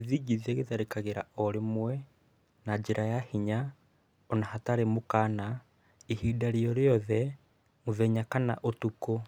Gĩthigithia gĩtharĩkagira o rimwe, na njĩra ya hinya ona hatarĩ mũkana ihinda rĩorĩothe mũthenya kana ũtukũ.